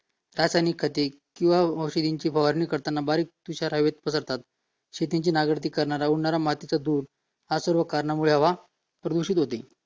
रासायनिक खते किंवा औषधांची फवारणी करताना बारीक पिसारा हवेत पसरतात शेतीची नांगरणी करताना उडणारा मातीच्या दूर या सर्वांमुळे प्रदूषण होते